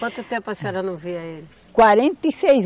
Quanto tempo a senhora não via ele? Quarenta e seis